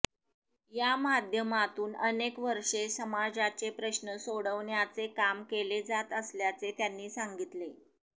या माध्यमातून अनेक वर्षे समाजाचे प्रश्न सोडवण्याचे काम केले जात असल्याचे त्यांनी सांगितले